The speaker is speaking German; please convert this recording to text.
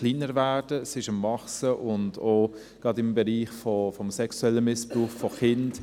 Sie nimmt zu, gerade auch im Bereich des sexuellen Missbrauchs von Kindern;